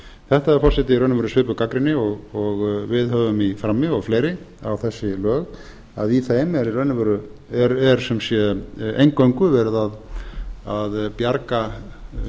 þetta forseti er í raun og veru svipuð gagnrýni og við höfum í frammi og fleiri á þessi lög að í þeim er sem sé eingöngu verið að bjarga